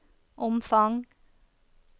omfang